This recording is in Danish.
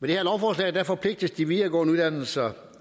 det her lovforslag forpligtes de videregående uddannelser